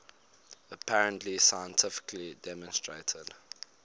apparently scientifically demonstrated